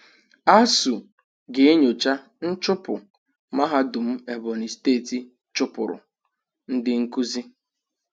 ASUU ga-enyocha nchụpụ mahadum Ebonyi steeti chụpụrụ ndị nkuzi